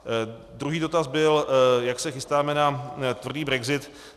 Druhý dotaz byl, jak se chystáme na tvrdý brexit.